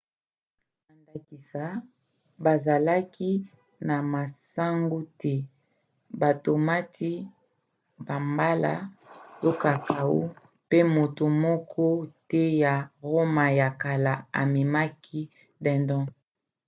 na ndakisa bazalaki na masangu te batomati bambala to cacao mpe moto moko te ya roma ya kala amekaki dindon